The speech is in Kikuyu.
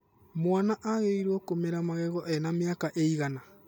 Mwana agĩrĩiruo kũmera magego ena mĩaka ĩigana?